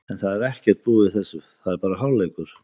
En það er ekkert búið í þessu, það er bara hálfleikur.